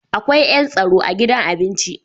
Akwai yan tsaro a gidan abinci.